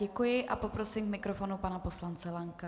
Děkuji a poprosím k mikrofonu pana poslance Lanka.